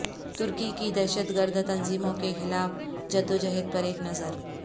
ترکی کی دہشت گرد تنظیموں کے خلاف جدو جہد پر ایک نظر